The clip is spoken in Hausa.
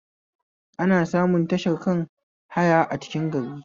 Ana samun tashar kan haya a cikin gari